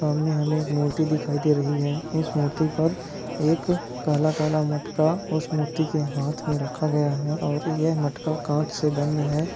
सामने हमे एक मूर्ति दिखाई दे रही है इस मूर्ति पर एक काला-काला मटका उस मूर्ति के हाथ मे रखा गया है और ये मटका कांच से बंद है।